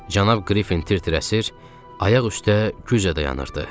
Cənab Qrifin tir-tir əsir, ayaq üstə güclə dayanırdı.